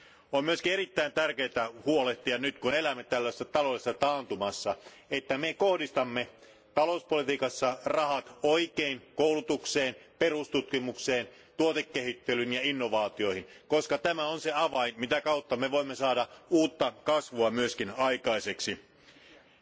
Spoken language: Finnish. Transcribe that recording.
On myöskin erittäin tärkeää huolehtia nyt, kun elämme tällaisessa taloudellisessa taantumassa, että kohdistamme talouspolitiikassa rahat oikein koulutukseen, perustutkimukseen, tuotekehittelyyn ja innovaatioihin, koska tämä on se avain, mitä kautta voimme myös saada aikaiseksi uutta kasvua.